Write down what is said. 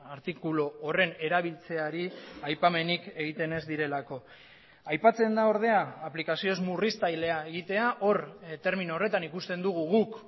artikulu horren erabiltzeari aipamenik egiten ez direlako aipatzen da ordea aplikazio ez murriztailea egitea hor termino horretan ikusten dugu guk